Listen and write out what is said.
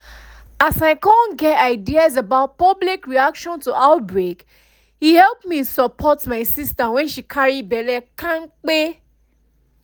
as i come get ideas about public reaction to outbreake help me support my sister when she carry belle kampe